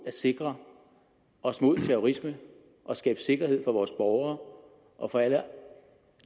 at sikre os mod terrorisme og skabe sikkerhed for vores borgere og for alle